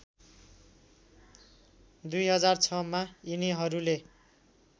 २००६ मा यिनीहरूले